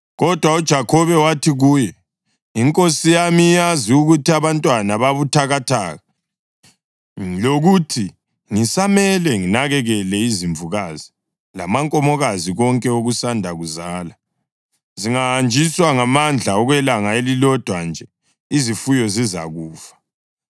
Kodwa uJakhobe wathi kuye, “Inkosi yami iyazi ukuthi abantwana babuthakathaka lokuthi ngisamele nginakekele izimvukazi lamankomokazi konke okusanda kuzala. Zingahanjiswa ngamandla okwelanga elilodwa nje, izifuyo zizakufa.